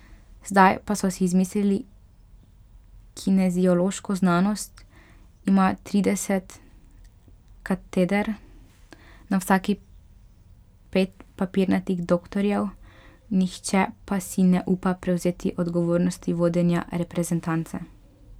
Zdaj pa so si izmislili kineziološko znanost, imajo trideset kateder, na vsaki pet papirnatih doktorjev, nihče pa si ne upa prevzeti odgovornosti vodenja reprezentance.